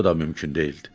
Bu da mümkün deyildi.